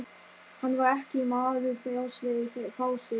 Hann var ekki maður frjálslegur í fasi.